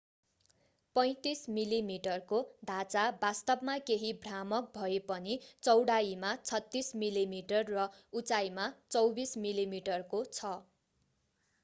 35 मिलिमिटरको ढाँचा वास्तवमा केही भ्रामक भए पनि चौडाईमा 36 मिलिमिटर र उचाइमा 24 मिलिमिटरको छ